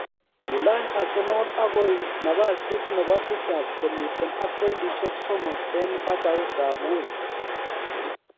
Kilany Arsenal agoi nabasit nebo tisap komiten ak pointishek somok en batautab Wolves